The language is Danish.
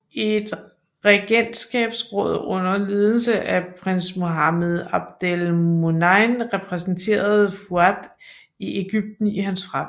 Et regentskabsråd under ledelse af Prins Muhammad Abdel Moneim repræsenterede Fuad i Egypten i hans fravær